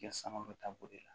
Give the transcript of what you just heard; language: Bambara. Kɛ samara bɛ taa boli la